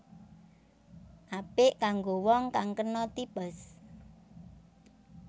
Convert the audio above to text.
Apik kanggo wong kang kena typhus